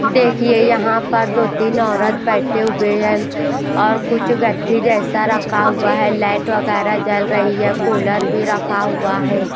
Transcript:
देखिए यहाँ पर दो-तीन औरत बैठे हुई है और कुछ गट्ठी जैसा रखा हुआ है लाइट वगैरा जल रही है कूलर भी रखा हुआ है।